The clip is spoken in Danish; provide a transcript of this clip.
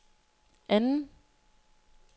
anden